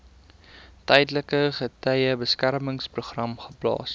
tydelike getuiebeskermingsprogram geplaas